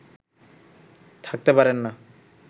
থাকতে পারেন না